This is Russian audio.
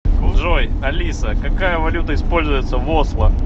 джой алиса какая валюта используется в осло